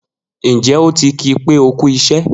Njẹ o ti ki pé o kú iṣẹ?